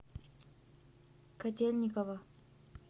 котельниково